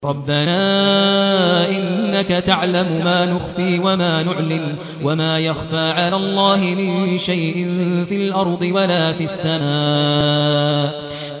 رَبَّنَا إِنَّكَ تَعْلَمُ مَا نُخْفِي وَمَا نُعْلِنُ ۗ وَمَا يَخْفَىٰ عَلَى اللَّهِ مِن شَيْءٍ فِي الْأَرْضِ وَلَا فِي السَّمَاءِ